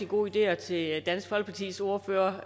gode ideer til dansk folkepartis ordfører